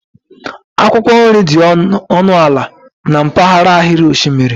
akwụkwọ nri dị ọnụ ala na mpaghara ahịrị osimiri